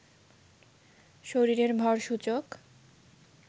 শরীরের ভর সূচক